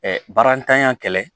barantanya kɛlɛ